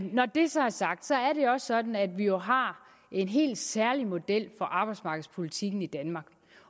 når det så er sagt er det også sådan at vi jo har en helt særlig model for arbejdsmarkedspolitikken i danmark